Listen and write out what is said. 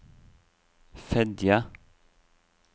Fedje